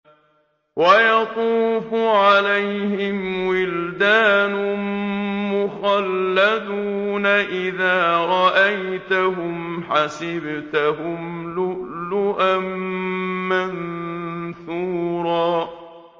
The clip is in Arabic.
۞ وَيَطُوفُ عَلَيْهِمْ وِلْدَانٌ مُّخَلَّدُونَ إِذَا رَأَيْتَهُمْ حَسِبْتَهُمْ لُؤْلُؤًا مَّنثُورًا